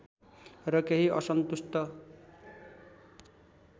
र केही असन्तुष्ट